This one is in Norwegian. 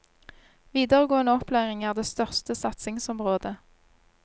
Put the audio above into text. Videregående opplæring er det største satsingsområdet.